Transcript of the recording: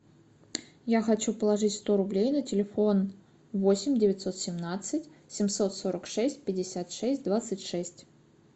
я хочу положить сто рублей на телефон восемь девятьсот семнадцать семьсот сорок шесть пятьдесят шесть двадцать шесть